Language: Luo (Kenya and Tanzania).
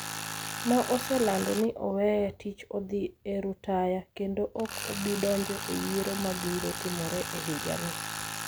ma oselando ni oweyo tich odhi e rutaya kendo ok obi donjo e yiero ma biro timore e higa ni.